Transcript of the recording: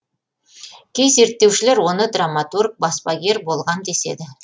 кей зерттеушілер оны драматург баспагер болған деседі